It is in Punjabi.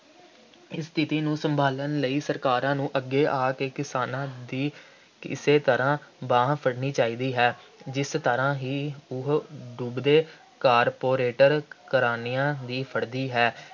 ਇਸ ਸਥਿਤੀ ਨੂੰ ਸੰਭਾਲਣ ਲਈ ਸਰਕਾਰਾਂ ਨੂੰ ਅੱਗੇ ਆ ਕੇ ਕਿਸਾਨਾਂ ਦੀ ਇਸੇ ਤਰ੍ਹਾਂ ਬਾਂਹ ਫੜਨੀ ਚਾਹੀਦੀ ਹੈ। ਜਿਸ ਤਰ੍ਹਾਂ ਹੀ ਉਹ ਡੁੱਬਦੇ ਕਾਰਪੋਰੇਟਰ ਘਰਾਣਿਆ ਦੀ ਫੜ੍ਹਦੀ ਹੈ।